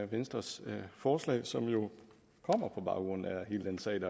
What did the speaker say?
venstres forslag som jo kommer på baggrund af hele den sag